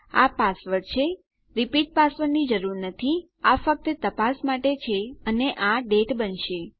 આ પાસવર્ડ છે repeat password ની જરૂર નથી આ ફક્ત તપાસ માટે છે અને આ ડેટ બનશે